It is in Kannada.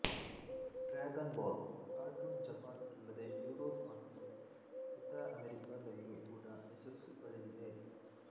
ಡ್ರ್ಯಾಗನ್ ಬಾಲ್ ಕಾರ್ಟೂನ್ ಜಪಾನ್ ಅಲ್ಲದೆ ಯುರೋಪ್ ಮತ್ತು ಉತ್ತರ ಅಮೇರಿಕಾದಲ್ಲು ಕೂಡ ಯಶಸ್ಸು ಪಡೆದಿದೆ